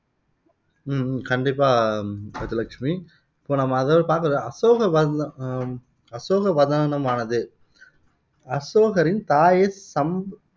ஆஹ் கண்டிப்பா கஜலட்சுமி இப்போ நம்ம அதாவது அசோகவர்ண அசோகவதனமானது அசோகரின் தாயை சம்ப்